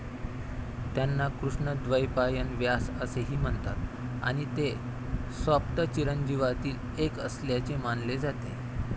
त्यांना कृष्णद्वैपायन व्यास असेही म्हणतात, आणि ते सप्तचिरंजीवांतील एक असल्याचे मानले जाते.